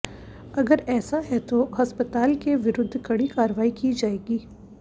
अगर ऐसा है तो अस्पताल के विरुद्घ कड़ी कार्रवाई की जाएगी